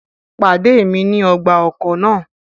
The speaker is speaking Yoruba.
Pade mi ni ọgba-ọkọ naa!